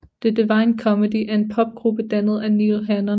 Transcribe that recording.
The Divine Comedy er en Popgruppe dannet af Neil Hannon